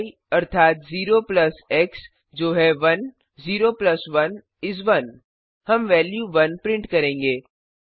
य अर्थात 0 plus X जो है 1 0 प्लस 1 इस 1 हम वेल्यू 1 प्रिंट करेंगे